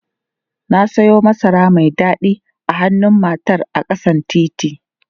Na siyo masara mai dadi a hannun matar a ƙasan titi.